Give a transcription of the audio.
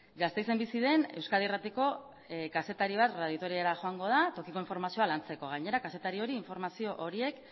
gasteizen bizi den euskadi irratiko kazetari bat radio vitoriara joango da tokiko informazioa lantzeko gainera kazetari hori informazio horiek